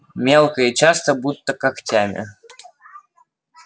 мелко и часто будто когтями